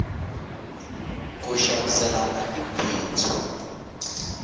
ku xaviselana i bindzu